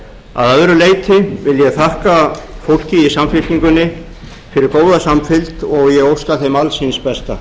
að öðru leyti vil ég þakka fólki í samfylkingunni fyrir góða samfylgd og ég óska þeim alls hins besta